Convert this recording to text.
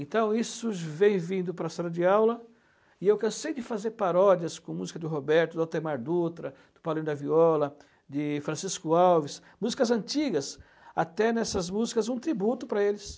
Então isso vem vindo para a sala de aula e eu cansei de fazer paródias com música do Roberto, do Altemar Dutra, do Paulinho da Viola, de Francisco Alves, músicas antigas, até nessas músicas um tributo para eles.